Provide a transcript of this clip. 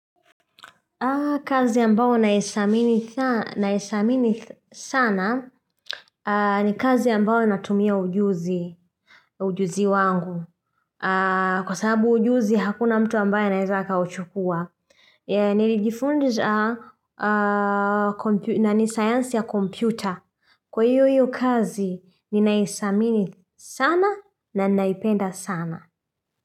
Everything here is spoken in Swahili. Kazi ambayo naidhamini sana ni kazi ambao natumia ujuzi ujuzi wangu. Kwa sababu ujuzi hakuna mtu ambaye anaeza akauchukua. Nilijifundiza na ni science ya computer. Kwa hiyo hiyo kazi nnaidhamini sana na naipenda sana.